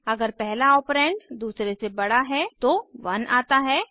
अगर पहला ऑपरेंड दूसरे से बड़ा है तो 1 आता है और